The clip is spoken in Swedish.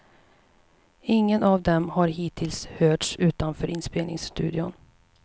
Ingen av dem har hittills hörts utanför inspelningsstudion.